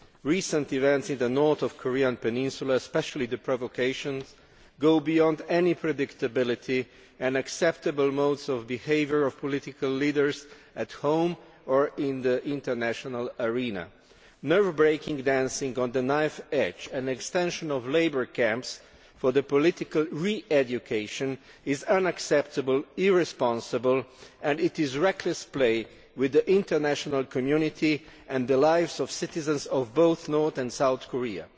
Recent events in the north of the Korean peninsula, and especially the provocations, go beyond any predictable and acceptable modes of behaviour of political leaders at home or in the international arena. Nerve wracking dancing on a knife's edge and an extension of labour camps for political re education is unacceptable and irresponsible and is reckless playing with the international community and the lives of the citizens of both North and South Korea.